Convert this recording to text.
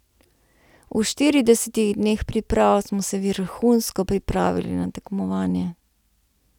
V štiridesetih dneh priprav smo se vrhunsko pripravili na tekmovanje.